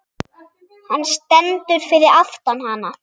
Hann stendur fyrir aftan hana.